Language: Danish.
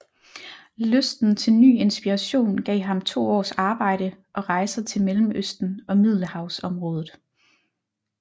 Lysten til ny inspiration gav ham to års arbejde og rejser til Mellemøsten og Middelhavsområdet